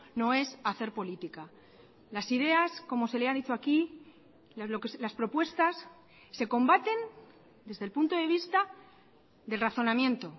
no es hacer política las ideas como se le ha dicho aquí las propuestas se combaten desde el punto de vista del razonamiento